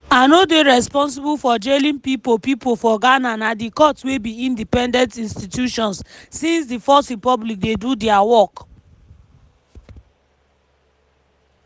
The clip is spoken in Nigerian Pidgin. “i no dey responsible for jailing pipo pipo for ghana na di courts wey be independent institutions since di fourth republic dey do dia work.”